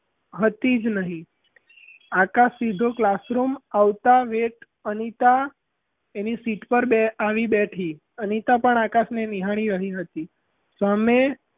હતી જ નહીં આકાશ સીધો classroom આવતાં wait અનિતા એની seat પર આવી બેઠી અનિતા પણ આકાશ ને નિહાળી રહી હતી સામે,